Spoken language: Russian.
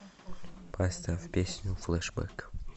поставь песню флэшбэк